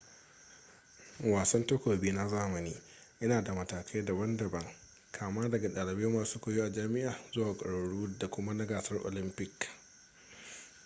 wasan takobi na zamani ya na da matakai daban daban kama daga dalibai masu koyo a jami'a zuwa ga kwararru da kuma na gasar olympic